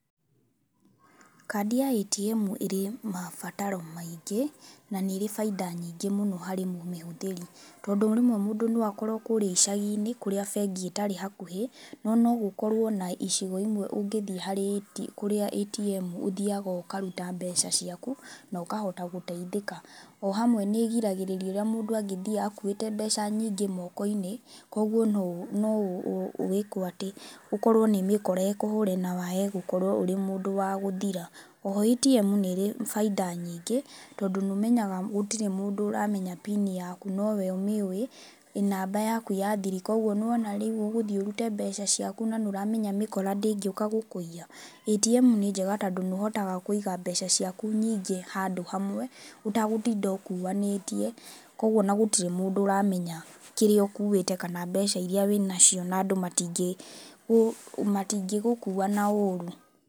Kadi ya ATM ĩrĩ mabataro maingĩ na nĩĩri baida nyingĩ mũno harĩ mũmĩhũthĩri tondũ rĩmwe mũndũ no akorwo kũrĩa icagi-inĩ kũria bengi itarĩ hakuhĩ, no nogũkorwo na icigo imwe ũngĩthiĩ harĩa AT kũrĩa ATM ũthiaga ũkaruta mbeca ciaku na ũkahota gũteithĩka. Ohamwe nĩigiragĩrĩria ũrĩa mũndũ angĩthiĩ akũwĩte mbeca nyingĩ moko-inĩ kwoguo noũ noũ ũĩkwoatĩ ũkorwo nĩ mĩkora ĩkũhũre na wae gũkorwo ũrĩ mũndũ wa gũthira. Oho ATM nĩĩrĩ baida nyingĩ, tondũ nĩũmenyaga gũtirĩ mũndũ ũramenya pin yaku nowe ũmĩũwĩ, namba yaku ya thiri kwoguo nĩwona rĩũ ũgũthiĩ ũrute mbeca ciaku na nĩũramenya mĩkora ndĩngĩũka gũkũiya. ATM nĩ njega tondũ nĩũhotaga kũiga mbeca ciaku nyingĩ handũ hamwe ũtagũtinda ũkuanĩtie, kwoguo ona gũtirĩ mũndũ ũramenya kĩrĩa ũkuwĩte kana mbeca iria wĩnacio na andũ matingĩ gũ matingĩgũkuwa na ũrũ.